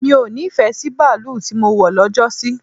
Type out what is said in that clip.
Mi o nífẹ̀ẹ́ sí baalú tí mọ wọ̀ lọ́jọ́ sí.